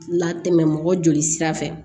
Latɛmɛ mɔgɔ joli sira fɛ